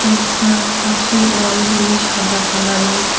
দরজার পাশে ওয়ালগুলি সাদা কালারের ।